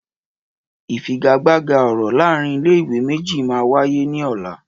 Ìfigagbága ọ̀rọ̀ láàárín ilé ìwé méjì máa wáyé ní ọ̀la